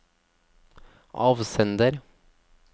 avsender